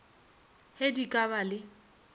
ge di ka ba le